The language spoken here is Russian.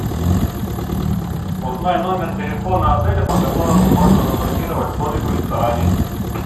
узнай номер телефона отеля по которому можно забронировать столик в ресторане